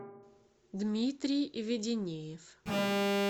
дмитрий веденеев